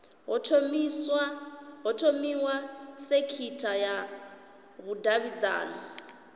ho thomiwa sekitha ya vhudavhidzano